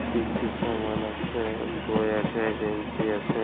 কি কি সামান আছে বই আছে গেঞ্জি আছে ।